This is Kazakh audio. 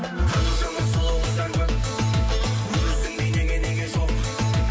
қаншама сұлу қыздар көп өзіңдей неге неге жоқ